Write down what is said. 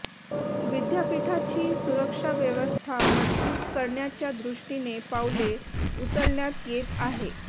विद्यापीठाची सुरक्षाव्यवस्था मजबूत करण्याच्या दृष्टीने पावले उचलण्यात येत आहे